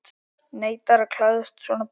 Neitar að klæðast svona bol?